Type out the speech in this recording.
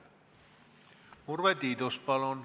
Urve Tiidus, palun!